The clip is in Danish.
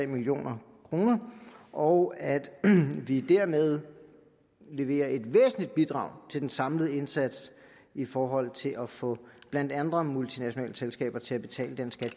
million kr og at vi dermed leverer et væsentligt bidrag til den samlede indsats i forhold til at få blandt andet multinationale selskaber til at betale den skat